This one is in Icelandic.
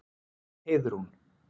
Heiðrún